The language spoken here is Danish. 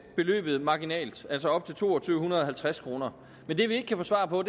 beløbet marginalt altså op til to tusind to hundrede og halvtreds kroner men det vi ikke kan få svar på